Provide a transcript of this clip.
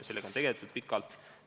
Sellega on tegeletud pikalt.